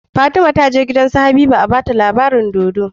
Fatima taje gidan su habiba a bata labarin dodo